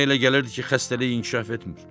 Ona elə gəlirdi ki, xəstəlik inkişaf etmir.